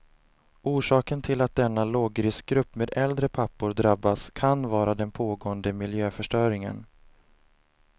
Orsaken till att denna lågriskgrupp med äldre pappor drabbas kan vara den pågående miljöförstöringen.